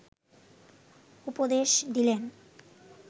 উপদেশ দিলেন